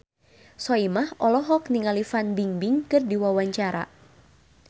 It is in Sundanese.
Soimah olohok ningali Fan Bingbing keur diwawancara